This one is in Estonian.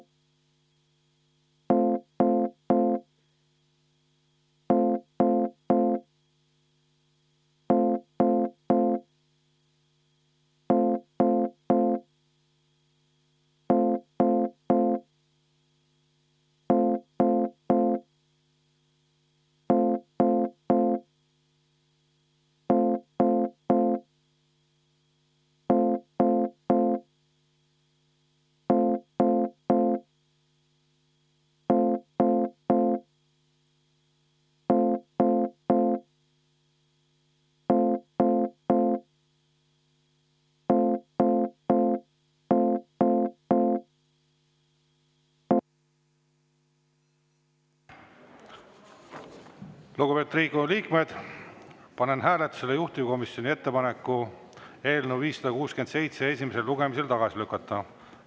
Lugupeetud Riigikogu liikmed, panen hääletusele juhtivkomisjoni ettepaneku eelnõu 567 esimesel lugemisel tagasi lükata.